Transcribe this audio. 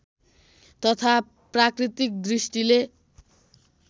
तथा प्राकृतिक दृष्टिले